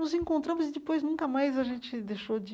Nos encontramos e, depois, nunca mais a gente deixou de...